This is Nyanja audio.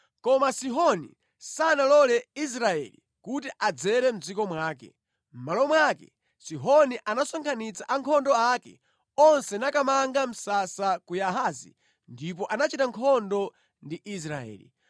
Koma Sihoni sanalole Israeli kuti adzere mʼdziko mwake. Mʼmalo mwake Sihoni anasonkhanitsa ankhondo ake onse nakamanga msasa ku Yahazi ndipo anachita nkhondo ndi Israeli.